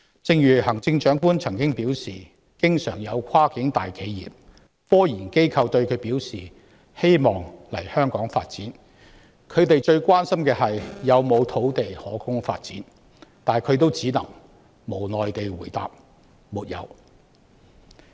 正如行政長官曾表示，經常有跨境大企業及科研機構向她表示希望來港發展，他們最關心的是有沒有土地可供發展，但她也只能無奈地回答"沒有"。